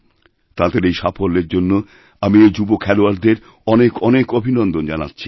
তাঁদের এই সাফল্যের জন্যআমি এই যুবখেলোয়াড়দের অনেক অনেক অভিনন্দন জানাচ্ছি